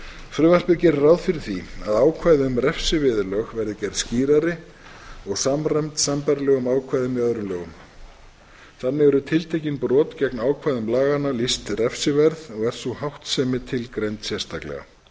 frumvarpið gerir ráð fyrir því að ákvæði um refsiviðurlög verði gerð skýrari og samræmd sambærilegum ákvæðum í öðrum lögum þannig eru tiltekin brot gegn ákvæðum laganna lýst refsiverð og er sú háttsemi tilgreind sérstaklega